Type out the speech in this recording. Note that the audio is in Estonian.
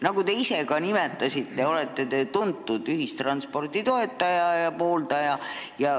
Nagu te äsja ise ka kinnitasite, te olete tuntud ühistranspordi pooldaja ja toetaja.